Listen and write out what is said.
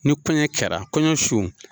Ni kɔɲɔ kɛra kɔɲɔ su.